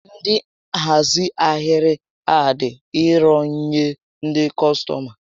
Ndị nhazi ahịrị a dị irò nyé ndị kọstọma